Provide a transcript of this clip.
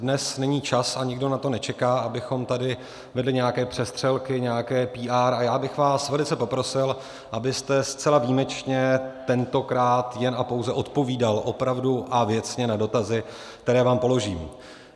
Dnes není čas, a nikdo na to nečeká, abychom tady vedli nějaké přestřelky, nějaké PR, a já bych vás velice poprosil, abyste zcela výjimečně tentokrát jen a pouze odpovídal opravdu a věcně na dotazy, které vám položím.